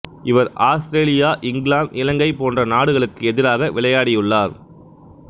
இவர் Australia England Ilangai போன்ற நாடுகளுக்கு எதிராக விளையாடியுள்ளார்